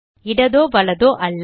இடதோ வலதோ அல்ல